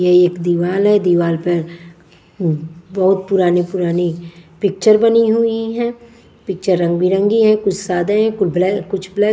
यह एक दीवाल है दीवाल पर उम बहुत पुरानी-पुरानी पिक्चर बनी हुई है पिक्चर रंग-बिरंगी है कुछ सादे कोई ब्लैक कुछ ब्लैक --